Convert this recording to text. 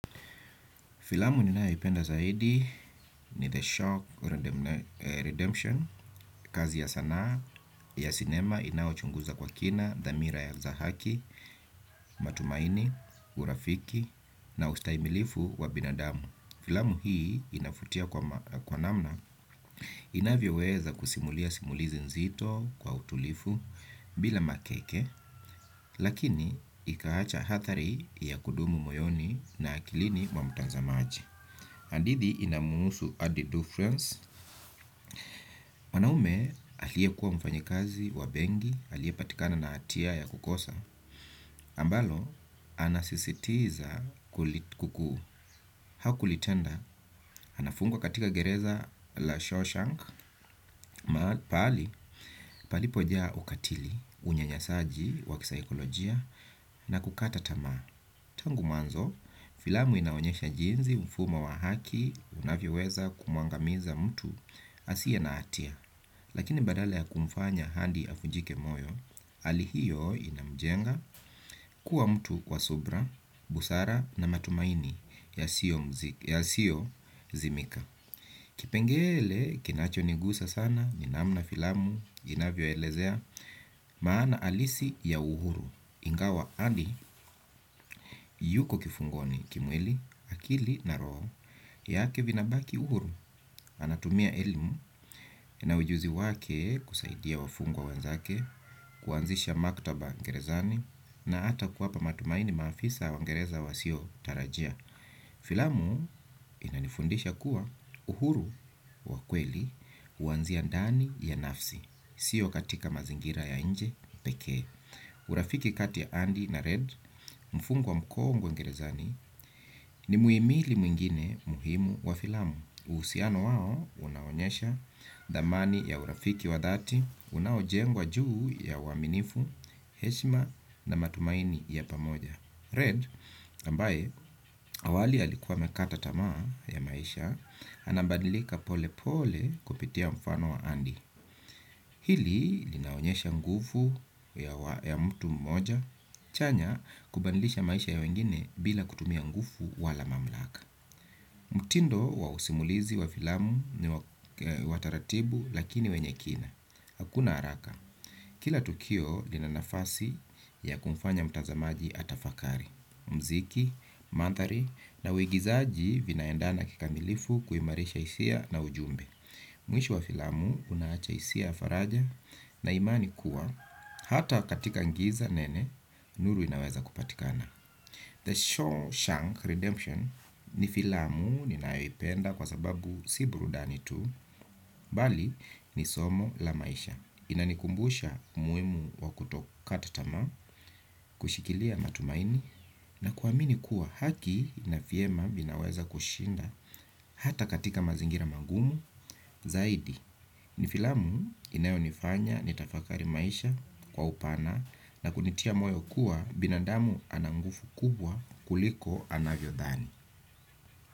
Filamu ninayoipenda zaidi ni The Shock redemne Redemption, kazi ya sanaa, ya sinema inayochunguza kwa kina, dhamira ya za haki, matumaini, urafiki na ustaimilivu wa binadamu. Filamu hii inavutia kwa ma kwa namna, inavyoweza kusimulia simulizi nzito kwa utulifu bila makeke, lakini ikaacha hathari ya kudumu moyoni na akilini kwa mtazamaji. Hadithi inamuhusu adi do friends. Wanaume aliyekuwa mfanyikazi wa benki aliyepatikana na hatia ya kukosa ambalo anasisitiza hakulitenda anafungwa katika gereza la Shawshank. Palipoja ukatili unyanyasaji wa kisaikolojia na kukata tamaa tangu mwanzo. Filamu inaonyesha jinsi mfumo wa haki unavyoweza kumwangamiza mtu asiye na hatia lakini badala ya kumfanya Adi avunjike moyo hali hiyo inamjenga kuwa mtu wa subra, busara na matumaini yasiyozimika. Kipengele kinachonigusa sana ni namna filamu inavyoelezea maana halisi ya uhuru. Ingawa Andy yuko kifungoni kimwili akili na roho yake vinabaki uhuru anatumia elimu na ujuzi wake kusaidia wafungwa wanzake, kuanzisha maktaba ngerezani na ata kuwapa matumaini maafisa wa gereza wasiotarajia. Filamu inanifundisha kuwa uhuru wa kweli huanzia ndani ya nafsi, sio katika mazingira ya nje pekee. Urafiki kati ya Andy na Red mfungwa mkongwe gerezani ni muhimili mwingine muhimu wa filamu. Uhusiano wao unaonyesha dhamani ya urafiki wa dhati, unaojengwa juu ya uaminifu, heshima na matumaini ya pamoja. Red ambaye awali alikuwa amekata tamaa ya maisha anabadilika pole pole kupitia mfano wa Andy. Hili linaonyesha nguvu ya mtu mmoja, chenye kubadilisha maisha ya wengine bila kutumia nguvu wala mamlaka. Mtindo wa usimulizi wa filamu ni wa taratibu lakini wenye kina hakuna haraka kila tukio linanafasi ya kumfanya mtazamaji atafakari mziki mandhari na uigizaji vinaendana kikamilifu kuimarisha hisia na ujumbe. Mwisho wa filamu unaacha hisia ya faraja na imani kuwa hata katika ngiza nene, nuru inaweza kupatikana. The Shawshank Redemption ni filamu ninayoipenda kwa sababu si burudani tu, bali ni somo la maisha. Inanikumbusha umuhimu wa kutokata tamaa, kushikilia matumaini, na kuamini kuwa haki na vyema vinaweza kushinda. Hata katika mazingira magumu Zaidi Ni filamu inayonifanya nitafakari maisha kwa upana na kunitia moyo kuwa binadamu ana nguvu kubwa kuliko anavyodhani.